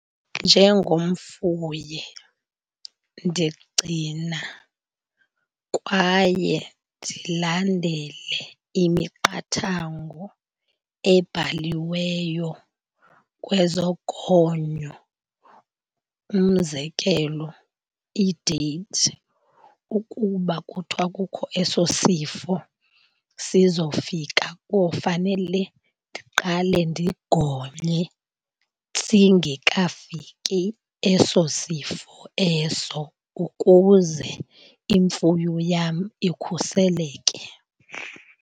Njengomfuyi ndigcina kwaye ndilandele imiqathango ebhaliweyo kwezogonyo, umzekelo ideyithi. Ukuba kuthiwa kukho eso sifo sizofika, kuyofanele ndiqale ndigonye singekafiki eso sifo eso ukuze imfuyo yam ikhuseleke.